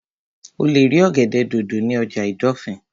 O lè rí ọ̀gẹ̀dẹ̀ dòdò ní ọjà ìdọ̀fìn